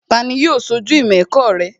Tani yóò ṣojú ìmọ̀ ẹ̀kọ́ rẹ?